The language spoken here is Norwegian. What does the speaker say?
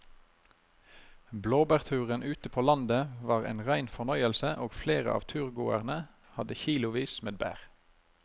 Blåbærturen ute på landet var en rein fornøyelse og flere av turgåerene hadde kilosvis med bær.